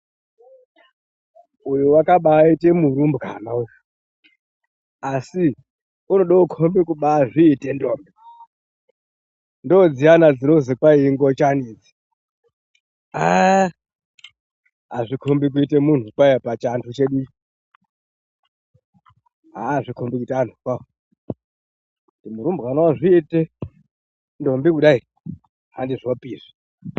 Uyo wakabaaite murumbwana asi unode kukombe kubaazvite ndombi ndodziyani dzinozi kwai ingochani idzi aaaa azvikombi kuite muntu kwaye pavhantu chedu aaa azvikombi kuite antu kwawo kuti murumbwana wozviite ndombi kudai andizvopi izvi.